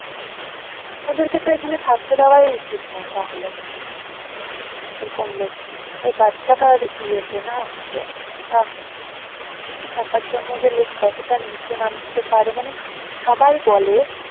ওদের কে তো থাকতে দেওয়াই উচিত না তাহলে ওই বাচ্চাটার ইয়েতে না কি অবস্থা টাকার জন্য যে লোক কত তা নিচে নামতে পারে মানে সবাই বলে